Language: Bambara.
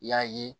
I y'a ye